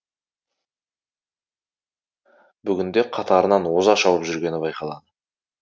бүгінде қатарынан оза шауып жүргені байқалады